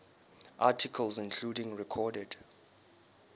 articles including recorded